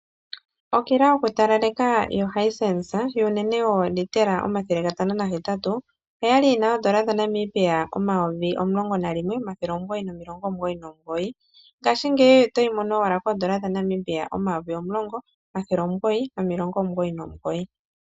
Okila yokutalaleka yoHisense yuunene wooliitela omathele gatano nahetatu, oya li yi na N$ 11 999.00 Ngashingeyi oto yi mono owala koN$10 999.00.